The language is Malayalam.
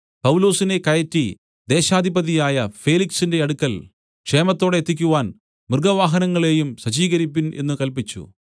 പൗലൊസിനെ കയറ്റി ദേശാധിപതിയായ ഫേലിക്സിന്റെ അടുക്കൽ ക്ഷേമത്തോടെ എത്തിക്കുവാൻ മൃഗവാഹനങ്ങളെയും സജ്ജീകരിപ്പിൻ എന്നു കല്പിച്ചു